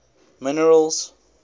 minerals